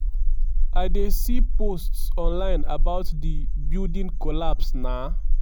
"i dey see posts online about di building collapse na